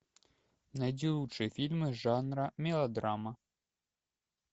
найди лучшие фильмы жанра мелодрама